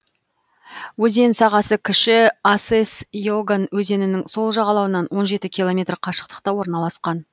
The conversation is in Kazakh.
өзен сағасы кіші асес еган өзенінің сол жағалауынан он жеті километр қашықтықта орналасқан